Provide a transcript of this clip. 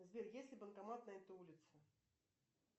сбер есть ли банкомат на этой улице